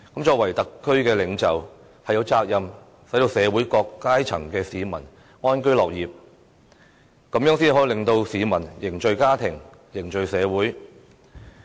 作為特區領袖，有責任讓社會各階層的市民安居樂業，這樣才可以令到市民凝聚家庭、社會。